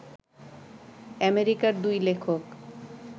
আমেরিকার দুই লেখক